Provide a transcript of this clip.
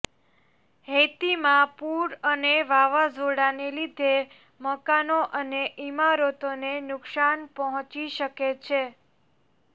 હૈતીમાં પૂર અને વાવાઝોડાંને લીધે મકાનો અને ઇમારતોને નુક્સાન પહોંચી શકે છે